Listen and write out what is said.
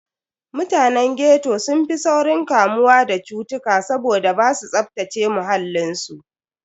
Mutanen ghetto sun fi saurin kamuwa da cutuka saboda basu tsaftace muhallin su.